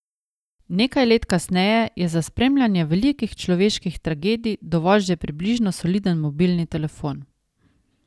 Nekaj let kasneje je za spremljanje velikih človeških tragedij dovolj že približno soliden mobilni telefon.